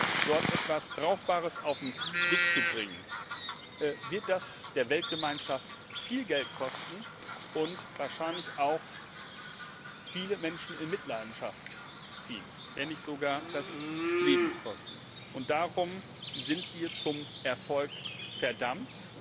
gelingt, in Doha etwas Brauchbares auf den Weg zu bringen, wird das die Weltgemeinschaft viel Geld kosten und wahrscheinlich auch viele Menschen in Mitleidenschaft ziehen, wenn nicht sogar das Leben kosten. Darum sind wir zum Erfolg verdammt!